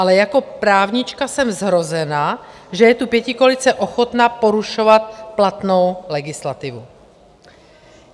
Ale jako právnička jsem zhrozena, že je tu pětikoalice ochotna porušovat platnou legislativu.